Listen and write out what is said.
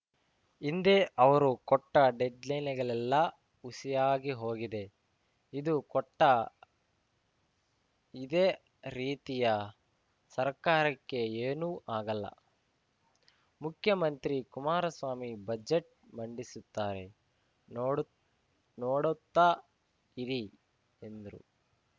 ಹಿಂದೆ ಅವರು ಕೊಟ್ಟಡೆಡ್‌ಲೈನ್‌ಗಳೆಲ್ಲ ಹುಸಿಯಾಗಿ ಹೋಗಿದೆ ಇದು ಕೊಟ್ಟ ಇದೇ ರೀತಿಯಾ ಸರ್ಕಾರಕ್ಕೆ ಏನು ಆಗಲ್ಲ ಮುಖ್ಯಮಂತ್ರಿ ಕುಮಾರಸ್ವಾಮಿ ಬಜೆಟ್‌ ಮಂಡಿಸುತ್ತಾರೆ ನೋಡ್ ನೋಡುತ್ತಾ ಇರಿ ಎಂದ್ರು